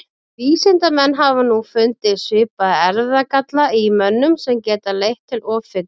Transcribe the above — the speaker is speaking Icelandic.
vísindamenn hafa nú fundið svipaða erfðagalla í mönnum sem geta leitt til offitu